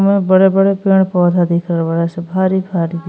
उमे बड़े बड़े पेड़ पौधा दिख रहला बाड़ासन भारी भारी।